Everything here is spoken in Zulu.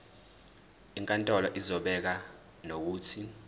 inkantolo izobeka nokuthi